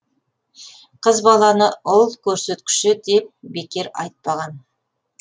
қыз баланы ұл көрсеткіші деп бекер айтпаған